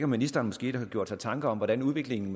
ministeren måske har gjort sig tanker om hvordan udviklingen